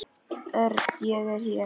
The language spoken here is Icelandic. Örn, ég er hér